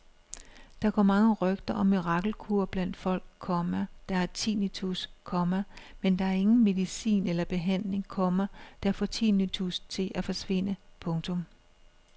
Der går mange rygter om mirakelkure blandt folk, komma der har tinnitus, komma men der er ingen medicin eller behandling, komma der får tinnitus til at forsvinde. punktum